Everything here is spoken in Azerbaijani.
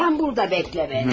Sən burada gözlə məni.